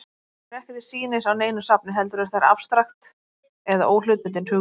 Tölurnar eru ekki til sýnis á neinu safni, heldur eru þær afstrakt eða óhlutbundin hugtök.